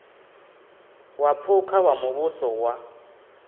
wa phukha wa muvhuso wa